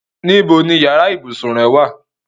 Níbo ni yàrá ibùsùn rẹ wà?